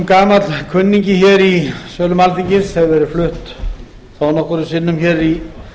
gamall kunningi hér í sölum alþingis hefur verið flutt þó nokkrum sinnum hér í